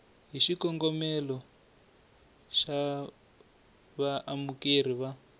hi xikongomelo xa vaamukeri va